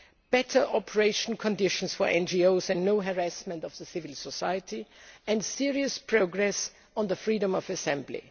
better operational conditions for NGOs and no harassment of civil society and serious progress on the freedom of assembly.